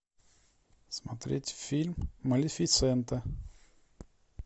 смотреть фильм малефисента